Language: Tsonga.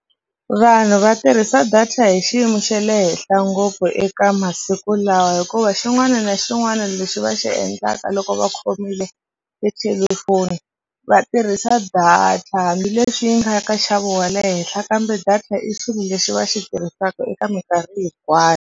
Vanhu va tirhisa data hi xiyimo xa le henhla ngopfu eka masiku lawa hikuva xin'wana na xin'wana lexi va xi endlaka loko va khomile tithelefoni va tirhisa data hambileswi yi nga ya ka nxavo wa le henhla kambe data i xilo lexi va xi tirhisaka eka mikarhi hinkwayo.